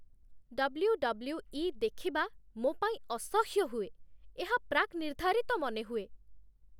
WWE. ଦେଖିବା ମୋ ପାଇଁ ଅସହ୍ୟ ହୁଏ। ଏହା ପ୍ରାକ୍‌ନିର୍ଦ୍ଧାରିତ ମନେହୁଏ।